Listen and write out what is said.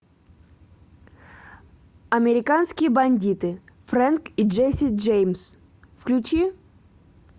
американские бандиты фрэнк и джесси джеймс включи